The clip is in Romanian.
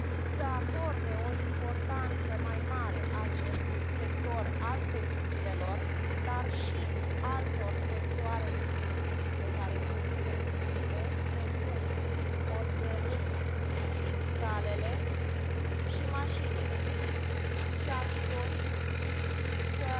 să acorde o importanță mai mare acestui sector al textilelor dar și altor sectoare din industrie care sunt senzitive, precum oțelul, chimicalele și mașinile și, aș dori să